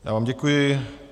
Já vám děkuji.